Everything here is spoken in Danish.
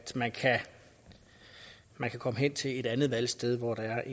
man kan komme hen til et andet valgsted hvor der